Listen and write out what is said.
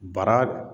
Bara